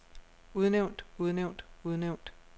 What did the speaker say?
udnævnt udnævnt udnævnt